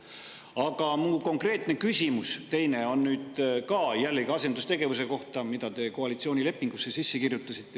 Aga mu konkreetne küsimus, juba teine, on jällegi asendustegevuse kohta, mille te olete koalitsioonilepingusse sisse kirjutanud.